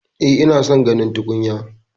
E, ina son ginin tukunya